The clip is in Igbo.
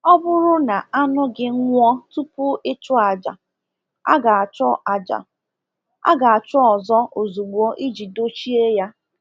Ọ bụrụ na anụ gị nwụọ tupu ịchụ aja, a ga-achọ aja, a ga-achọ ọzọ ozugbo iji dochie ya.